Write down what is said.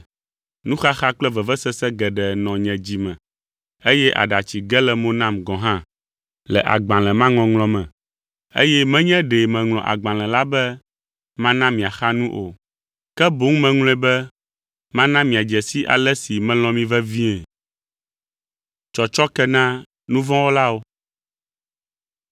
Nuxaxa kple vevesese geɖe nɔ nye dzi me, eye aɖatsi ge le mo nam gɔ̃ hã le agbalẽ ma ŋɔŋlɔ me, eye menye ɖe meŋlɔ agbalẽ la be mana miaxa nu o. Ke boŋ meŋlɔe be mana miadze si ale si melɔ̃ mi vevie.